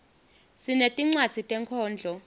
sinetincwadzi tenkhondlo